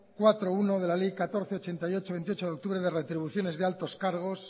cuatro punto uno de la ley catorce barra ochenta y ocho de veintiocho de octubre de retribuciones de altos cargos